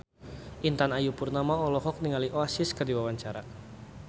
Intan Ayu Purnama olohok ningali Oasis keur diwawancara